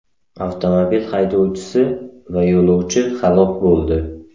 Avtomobil haydovchisi va yo‘lovchi halok bo‘ldi.